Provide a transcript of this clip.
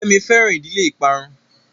Kemi fẹran ìdílé ìparun